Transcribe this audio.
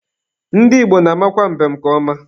Ndị Igbo na-amakwa mbem nke ọma.